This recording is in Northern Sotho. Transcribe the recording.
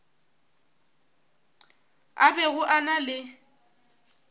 a bego a na le